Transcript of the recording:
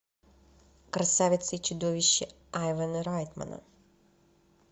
красавица и чудовище айвана райтмана